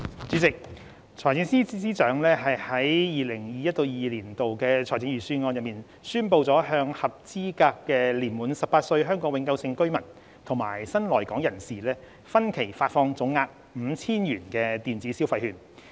主席，財政司司長在 2021-2022 年度財政預算案宣布向合資格的年滿18歲香港永久性居民及新來港人士分期發放總額 5,000 元的電子消費券。